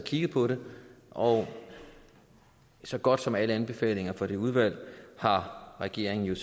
kigget på det og så godt som alle anbefalinger fra det udvalg har regeringen